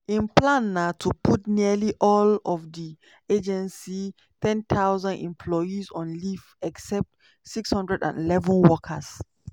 im plan na to put nearly all of di agency 10000 employees on leave except 611 workers.